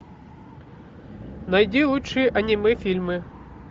найди лучшие аниме фильмы